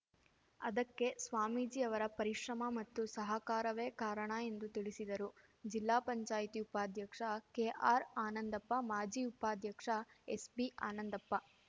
ಅದಕ್ಕೆ ಸ್ವಾಮೀಜಿ ಅವರ ಪರಿಶ್ರಮ ಮತ್ತು ಸಹಕಾರವೇ ಕಾರಣ ಎಂದು ತಿಳಿಸಿದರು ಜಿಲ್ಲಾ ಪಂಚಾಯಿತಿ ಉಪಾಧ್ಯಕ್ಷ ಕೆಆರ್‌ ಆನಂದಪ್ಪ ಮಾಜಿ ಉಪಾಧ್ಯಕ್ಷ ಎಸ್‌ಬಿ ಆನಂದಪ್ಪ